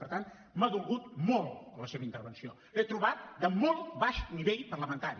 per tant m’ha dolgut molt la seva intervenció l’he trobat de molt baix nivell parlamentari